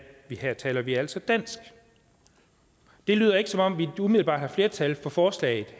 her taler vi altså dansk det lyder ikke som om vi umiddelbart har flertal for forslaget